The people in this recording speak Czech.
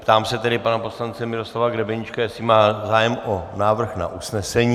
Ptám se tedy pana poslance Miroslava Grebeníčka, jestli má zájem o návrh na usnesení.